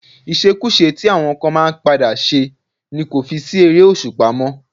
Ìṣekúṣe tí àwọn kan máa ń padà ṣe ni kò fi sí ère-òṣùpá mó.